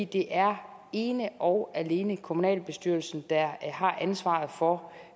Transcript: det er ene og alene kommunalbestyrelsen der har ansvaret for